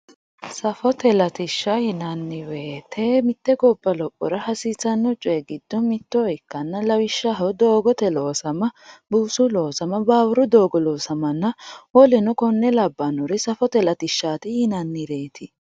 safote latishsha yinanni woyiite mitte gobba lophora hasiisanno coyi giddo mitto ikkanna lawishshaho doogote loosama buusu loosama baawuru doogo loosamanna woleno konne labbanori safote latishshaati yinannireeti